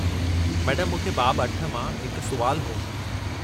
मैडमु, मूंखे बाबु 8 मां हिकु सुवालु हो।